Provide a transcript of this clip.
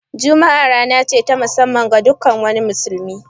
Jummat rana ce ta mussaman ga duk wani musulmi